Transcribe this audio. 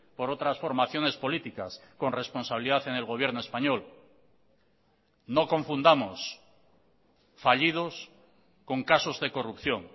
por otras formaciones políticas con responsabilidad en el gobierno español no confundamos fallidos con casos de corrupción